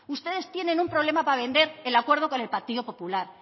ustedes tienen un problema para vender el acuerdo con el partido popular